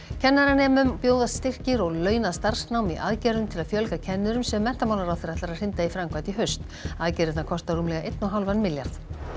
kennaranemum bjóðast styrkir og launað starfsnám í aðgerðum til að fjölga kennurum sem menntamálaráðherra ætlar að hrinda í framkvæmd í haust aðgerðirnar kosta rúmlega einn og hálfan milljarð